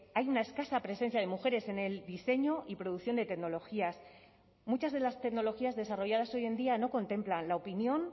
hay una escasa presencia de mujeres en el diseño y producción de tecnologías muchas de las tecnologías desarrolladas hoy en día no contemplan la opinión